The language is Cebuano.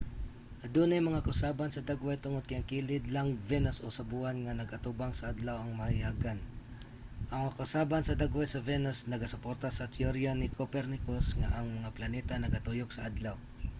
adunay mga kausaban sa dagway tungod kay ang kilid lang venus o sa buwan nga nag-atubang sa adlaw ang mahayagan. ang mga kausaban sa dagway sa venus nagasuporta sa teorya ni copernicus nga ang mga planeta nagatuyok sa adlaw